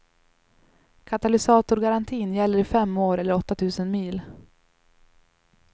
Katalysatorgarantin gäller i fem år eller åtta tusen mil.